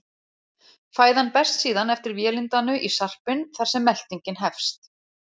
Fæðan berst síðan eftir vélindanu í sarpinn þar sem meltingin hefst.